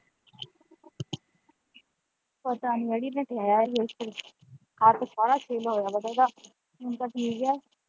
ਪਤਾ ਨੀ ਅੜੀਏ ਹੱਥ ਬਾਹਵਾ ਛਿੱਲ ਹੋਇਆ ਹੈ ਉਹਦਾ ਹੁਣ ਤਾਂ ਠੀਕ ਹੈ।